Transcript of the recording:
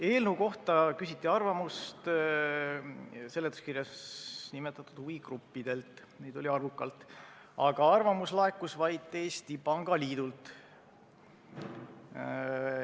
Eelnõu kohta küsiti arvamust seletuskirjas nimetatud huvigruppidelt, neid oli arvukalt, aga arvamus laekus vaid Eesti Pangaliidult.